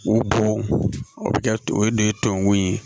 O bon o bɛ kɛ o de ye tɔnkun ye